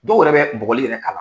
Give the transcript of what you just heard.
Dɔw yɛrɛ bɛ bugɔli yɛrɛ k'a la.